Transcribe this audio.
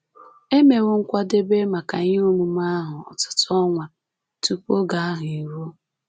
E mewo nkwadebe maka ihe omume ahụ ọtụtụ ọnwa tupu oge ahụ eruo